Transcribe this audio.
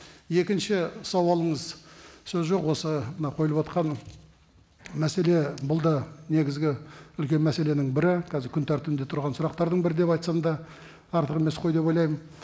екінші сауалыңыз сөз жоқ осы мынау қойылыватқан мәселе бұл да негізгі үлкен мәселенің бірі қазір күн тәртібінде тұрған сұрақтардың бірі деп айтсам да артық емес қой деп ойлаймын